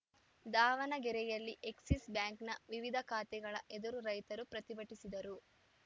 ದಾವಣಗೆರೆಯಲ್ಲಿ ಎಕ್ಸಿಸ್‌ ಬ್ಯಾಂಕ್‌ನ ವಿವಿಧ ಶಾತೆಗಳ ಎದುರು ರೈತರು ಪ್ರತಿಭಟಿಸಿದರು